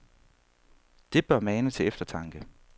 Det bør mane til eftertanke.